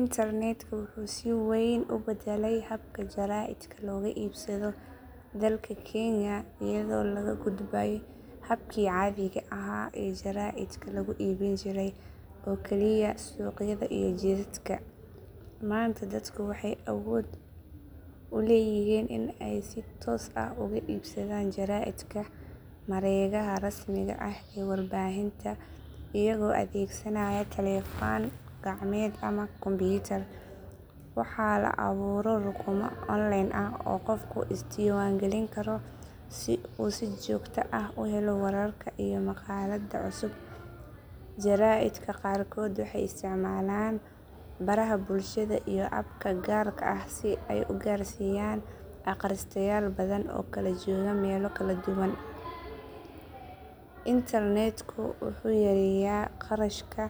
Internetka wuxuu si weyn u bedelay habka jaraaidka looga iibsado dalka kenya iyadoo laga gudbay habkii caadiga ahaa ee jaraa’idka lagu iibin jiray oo kaliya suuqyada iyo jidadka. Maanta dadku waxay awood u leeyihiin in ay si toos ah uga iibsadaan jaraa’idka mareegaha rasmiga ah ee warbaahinta iyagoo adeegsanaya taleefan gacmeed ama kumbuyuutar. Waxaa la abuuro rukumo online ah oo qofku is diiwaangelin karo si uu si joogto ah u helo wararka iyo maqaalada cusub. Jaraa’idka qaarkood waxay isticmaalaan baraha bulshada iyo abka gaar ah si ay u gaarsiiyaan akhristayaal badan oo kala jooga meelo kala duwan. Internetku wuxuu yareeyay kharashka